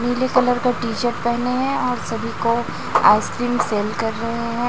नीले कलर का T shirt पहने हैं और सभी को आइसक्रीम सेल कर रहे हैं।